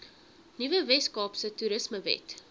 nuwe weskaapse toerismewet